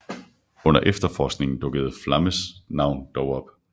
Under efterforskningen dukkede Flames navn dog op